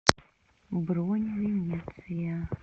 бронь венеция